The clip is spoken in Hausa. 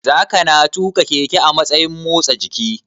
Zakana tuƙa keke a matsayin motsa jiki?